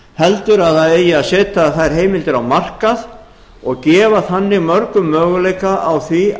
heldur að það eigi að setja þær heimildir á markað og gefa þannig mörgum möguleika á því